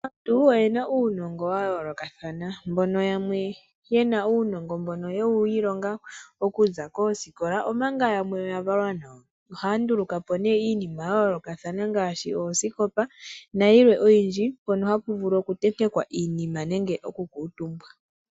Aantu oye na uunongo wa yoolokathana. Yamwe oye na uunongo mbono ye wu ilonga okuza koosikola. Omanga yamwe oya valwa nawo. Oha ya nduluka po iinima ya yoolokathana ngaashi: oosikopa, nayilwe oyindji , mpono ha pu vulu oku tentekwa iinima nenge, oku kala omutumba.